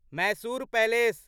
Mysore palace